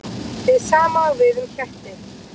Hið sama á við um ketti.